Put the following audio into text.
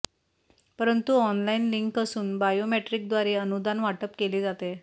परंतु online link असून बायोमेट्रिकद्वारे अनुदान वाटप केले जाते